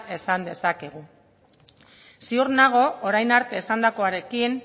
esan dezakegu ziur nago orain arte esandakoarekin